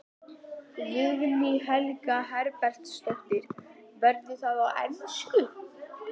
Guðný Helga Herbertsdóttir: Verður það á ensku?